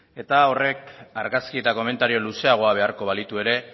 eta horrek argazki eta komentario luzeagoa beharko balitu ere